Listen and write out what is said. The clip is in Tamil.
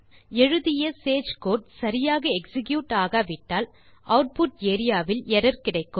எழுதிய சேஜ் கோடு சரியாக எக்ஸிக்யூட் ஆகாவிட்டால் ஆட்புட் ஏரியா வில் எர்ரர் கிடைக்கும்